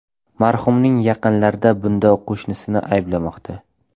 Marhumning yaqinlari bunda qo‘shnisini ayblamoqda.